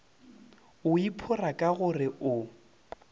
o iphora ka gore o